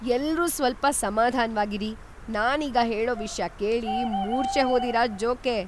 ಎಲ್ರೂ ಸ್ವಲ್ಪ ಸಮಾಧಾನ್ವಾಗಿರಿ! ನಾನೀಗ ಹೇಳೋ ವಿಷ್ಯ ಕೇಳಿ ಮೂರ್ಛೆ ಹೋದೀರ ಜೋಕೆ!